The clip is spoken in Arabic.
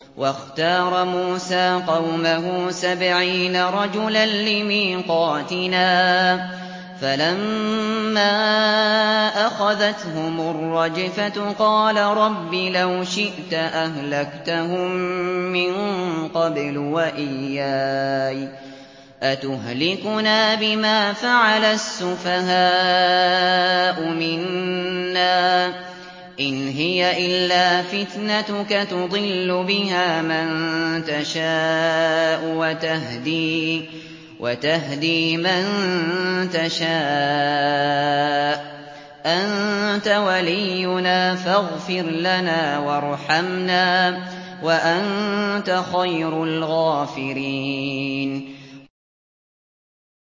وَاخْتَارَ مُوسَىٰ قَوْمَهُ سَبْعِينَ رَجُلًا لِّمِيقَاتِنَا ۖ فَلَمَّا أَخَذَتْهُمُ الرَّجْفَةُ قَالَ رَبِّ لَوْ شِئْتَ أَهْلَكْتَهُم مِّن قَبْلُ وَإِيَّايَ ۖ أَتُهْلِكُنَا بِمَا فَعَلَ السُّفَهَاءُ مِنَّا ۖ إِنْ هِيَ إِلَّا فِتْنَتُكَ تُضِلُّ بِهَا مَن تَشَاءُ وَتَهْدِي مَن تَشَاءُ ۖ أَنتَ وَلِيُّنَا فَاغْفِرْ لَنَا وَارْحَمْنَا ۖ وَأَنتَ خَيْرُ الْغَافِرِينَ